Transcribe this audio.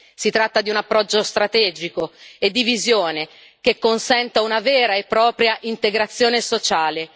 Si tratta di un approccio strategico e di visione, che consenta una vera e propria integrazione sociale.